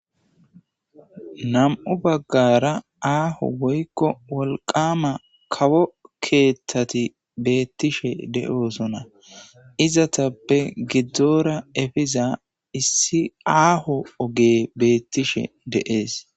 Nam'u baggara aaho woykko wolqama kawo keeththati beettishe de'oosona, izatappe giddora efiza issi aaho oge beettishe deees.